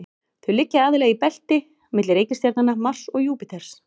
Þau liggja aðallega í belti milli reikistjarnanna Mars og Júpíters.